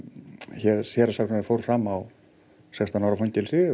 héraðssaksóknari fór fram á sextán ára fangelsi